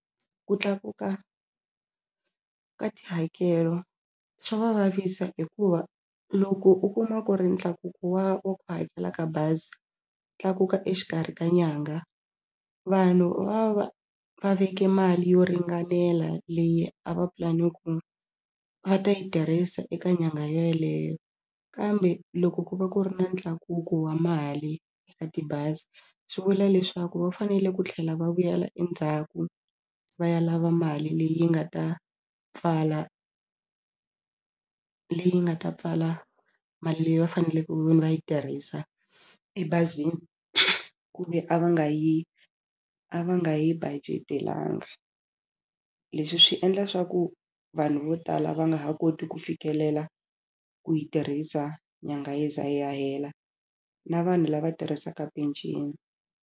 Ku tlakuka ka tihakelo swa va vavisa hikuva loko u kuma ku ri ntlakuko wa wa ku hakela ka bazi tlakuka exikarhi ka nyanga vanhu va va va veke mali yo ringanela leyi a va pulani ku va ta yi tirhisa eka nyangha yeleyo kambe loko ku va ku ri na ntlakuko wa mali eka tibazi swi vula leswaku va fanele ku tlhela va vuyela endzhaku va ya lava mali leyi nga ta pfala leyi nga ta pfala mali leyi va faneleke ku ve ni va yi tirhisa ebazini kumbe a va nga yi a va nga yi budget-elanga. Leswi swi endla swa ku vanhu vo tala va nga ha koti ku fikelela ku yi tirhisa nyanga yi za yi ya hela na vanhu lava tirhisaka penceni.